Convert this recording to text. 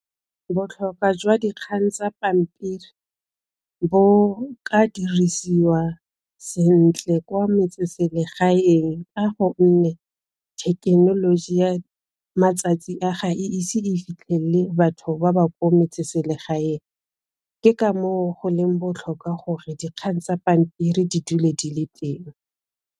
Botlhokwa jwa dikgang tsa pampiri bo ka dirisiwa sentle kwa metseselegaeng ka gonne thekenoloji ya matsatsi a, ga e ise e fitlhelele batho ba ba kwa metseselegaeng, ke ka moo go leng botlhokwa gore dikgang tsa pampiri di dule di le teng.